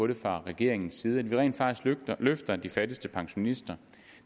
det fra regeringens side idet vi rent faktisk løfter de fattigste pensionister